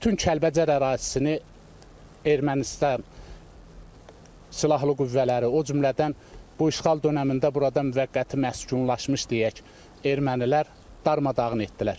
Bütün Kəlbəcər ərazisini Ermənistan silahlı qüvvələri, o cümlədən bu işğal dönəmində burada müvəqqəti məskunlaşmış deyək, Ermənilər darmadağın etdilər.